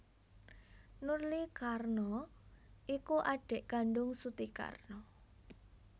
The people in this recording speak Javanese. Nurly Karno iku adhik kandung Suti Karno